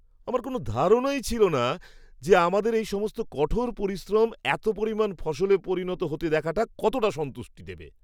আমার কোনও ধারণাই ছিল না যে, আমাদের এই সমস্ত কঠোর পরিশ্রম এত পরিমাণ ফসলে পরিণত হতে দেখাটা কতটা সন্তুষ্টি দেবে।